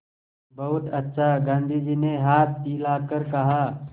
बहुत अच्छा गाँधी जी ने हाथ हिलाकर कहा